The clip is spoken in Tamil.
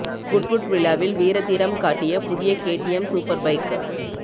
குட்வுட் விழாவில் வீர தீரம் காட்டிய புதிய கேடிஎம் சூப்பர் பைக்